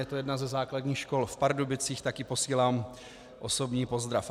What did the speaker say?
Je to jedna ze základních škol v Pardubicích, tak jí posílám osobní pozdrav.